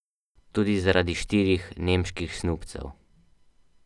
Tudi zaradi štirih nemških snubcev ...